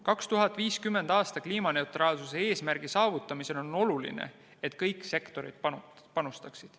2050. aasta kliimaneutraalsuse eesmärgi saavutamisel on oluline, et kõik sektorid panustaksid.